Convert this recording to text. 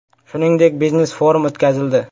Shuningdek, biznes-forum o‘tkazildi.